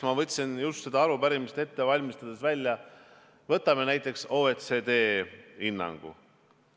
Ma võtsin just seda arupärimist ette valmistades välja näiteks OECD hinnangu.